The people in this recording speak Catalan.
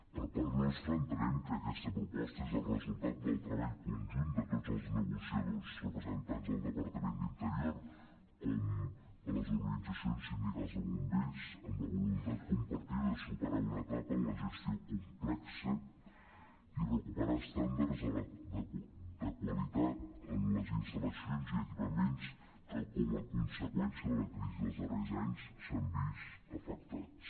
per part nostra entenem que aquesta proposta és el resultat del treball conjunt de tots els negociadors representants del departament d’interior com de les organitza·cions sindicals de bombers amb la voluntat compartida de superar una etapa en la gestió complexa i recuperar estàndards de qualitat en les instal·lacions i equipaments que com a conseqüència de la crisi dels darrers anys s’han vist afectats